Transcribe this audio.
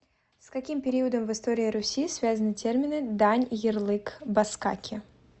с каким периодом в истории руси связаны термины дань ярлык баскаки